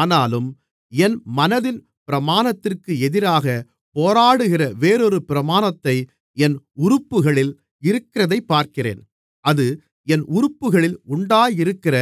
ஆனாலும் என் மனதின் பிரமாணத்திற்கு எதிராகப் போராடுகிற வேறொரு பிரமாணத்தை என் உறுப்புகளில் இருக்கிறதைப் பார்க்கிறேன் அது என் உறுப்புகளில் உண்டாயிருக்கிற